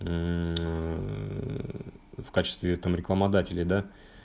ээ в качестве там рекламодателей да